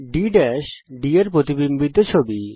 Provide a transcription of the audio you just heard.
বিন্দু D D এর প্রতিবিম্বিত ছবি